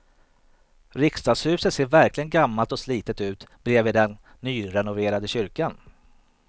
Riksdagshuset ser verkligen gammalt och slitet ut bredvid den nyrenoverade kyrkan.